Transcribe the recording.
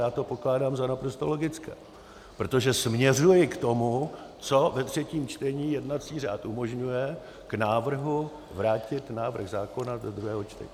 Já to pokládám za naprosto logické, protože směřuji k tomu, co ve třetím čtení jednací řád umožňuje, k návrhu vrátit návrh zákona do druhého čtení.